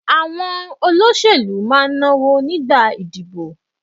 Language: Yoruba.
Àwọn olóṣèlú máa ń náwó nígbà ìdìbò.